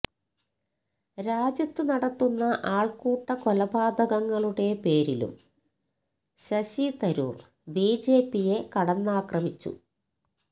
രാജ്യത്തു നടത്തുന്ന ആൾക്കൂട്ട കൊലപാതകങ്ങളുടെ പേരിലും ശശി തരൂർ ബിജെപിയെ കടന്നാക്രമിച്ചു